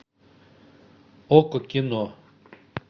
окко кино